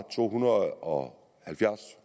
to hundrede og